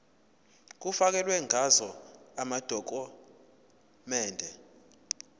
kufakelwe ngazo amadokhumende